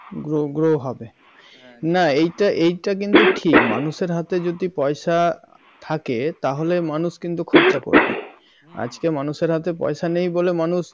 grow grow হবে না এইটা এইটা কিন্তু ঠিক মানুষের হাতে যদি পয়সা থাকে তাহলে মানুষ কিন্তু খরচা করবে আজকে মানুষের হাতে পয়সা নেই বলে মানুষ